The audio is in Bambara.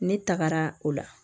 Ne tagara o la